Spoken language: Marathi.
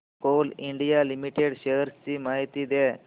कोल इंडिया लिमिटेड शेअर्स ची माहिती द्या